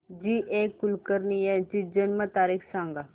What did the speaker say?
जी A Kulkarni यांची जन्म तारीख सांग